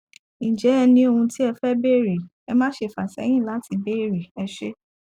ǹjẹ ẹ ní ohun tí ẹ fẹ bèèrè ẹ máṣe fà sẹyìn láti béèrè ẹ ṣé